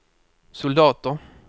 soldater